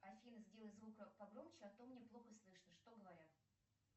афина сделай звук погромче а то мне плохо слышно что говорят